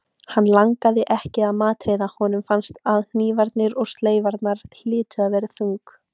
Hann langaði ekki að matreiða- honum fannst að hnífarnir og sleifarnar hlytu að vera þung.